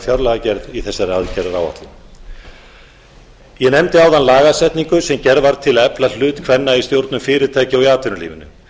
fjárlagagerð í þessari aðgerðaráætlun ég nefndi áðan lagasetningu sem gerð var til að efla hlut kvenna í stjórnum fyrirtækja og í atvinnulífinu